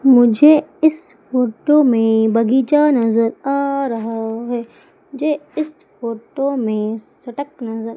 मुझे इस फोटो में बगीचा नज़र आ रहा है मुझे इस फोटो मे सड़क नज़र--